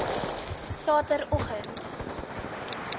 sateroggend